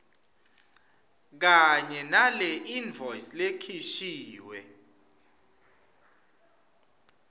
kanye naleinvoice lekhishiwe